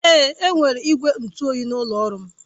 Èé, enwere igwe ntụ oyi n'ụlọ ọrụ m